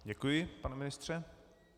Děkuji, pane ministře.